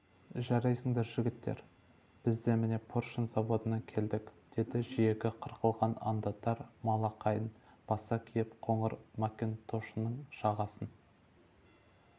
жарайсыңдар жігіттер біз де міне поршень заводынан келдік деді жиегі қырқылған ондатор малақайын баса киіп қоңыр макентошының жағасын